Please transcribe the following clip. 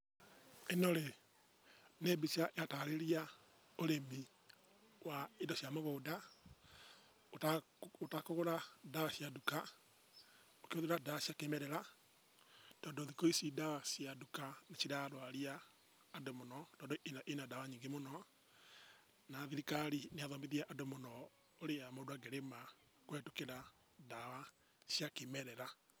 ĩno-rĩ, nĩ mbica ĩratarĩria ũrĩmi wa indo cia mũgũnda ũtakũgũra ndawa cia nduka ũkĩhũthĩra ndawa cia kĩmerera tondũ thikũ ici ndawa cia nduka nĩcirarwaria andũ mũno tondũ ina ndawa nyingĩ mũno na thirikari nĩ ĩrathomithia andũ mũno ũrĩa mũndũ angĩrĩma kũhetũkĩra ndawa cia kĩmerera.